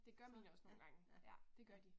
Det gør mine også nogle gange, ja. Det gør de